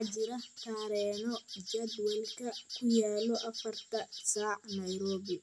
waxaa jira tareeno jadwalka ku yaal afarta saac